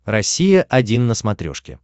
россия один на смотрешке